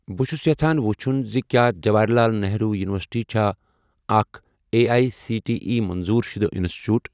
بہٕ چھُس یژھان وُچھُن زِ کیٛاہ جواہر لال نہروٗ یُنورسِٹی چھا اکھ A I C T E منظور شُدٕ اِنسٹِٹیوٗٹ؟